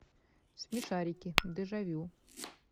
смешарики дежавю